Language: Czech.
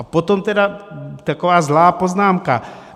A potom tedy taková zlá poznámka.